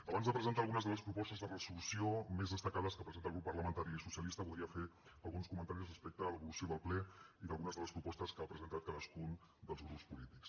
abans de presentar algunes de les propostes de resolució més destacades que presenta el grup parlamentari socialista voldria fer alguns comentaris respecte a l’evolució del ple i d’algunes de les propostes que ha presentat cadascun dels grups polítics